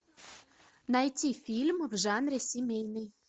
найти фильм в жанре семейный